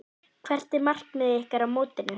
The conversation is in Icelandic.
Hvert er markmið ykkar á mótinu?